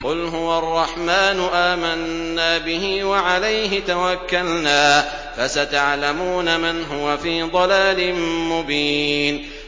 قُلْ هُوَ الرَّحْمَٰنُ آمَنَّا بِهِ وَعَلَيْهِ تَوَكَّلْنَا ۖ فَسَتَعْلَمُونَ مَنْ هُوَ فِي ضَلَالٍ مُّبِينٍ